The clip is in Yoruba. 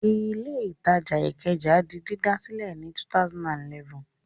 Ilé-ìtajà Ìkẹjà di dídà sílẹ̀ ní 2011.